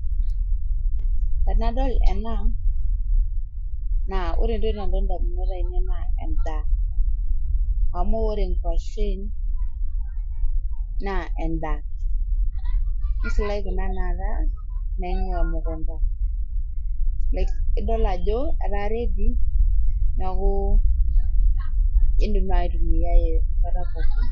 Tanadool ena naa ore ntoki nadol te ndamunot naa endaa. Amu ore nguaashen naa endaa. Neishilaaki, nidool ajo etaa ready ituum aitumiai nkaata pooki.